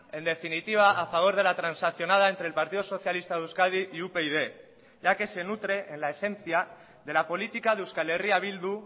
en definitiva a favor de la transaccionada entre el partido socialista de euskadi y upyd ya que se nutre en la esencia de la política de euskal herria bildu